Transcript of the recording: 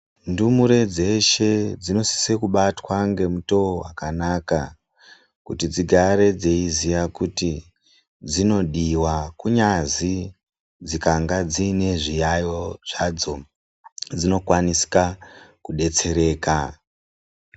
Ndumure dzeshe dzinosisira kubatwa ngemutowo wakanaka kuti dzigare dzeiziya kuti dzinodiwa, kunyazi dzikange dziine zviyayo zvadzo, dzinokwanisa kudetsereka.